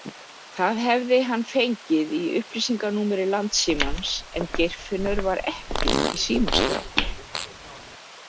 Það hefði hann fengið í upplýsinganúmeri Landssímans en Geirfinnur var ekki í símaskrá.